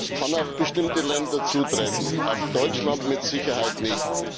Das kann auf bestimmte Länder zutreffen, auf Deutschland mit Sicherheit nicht.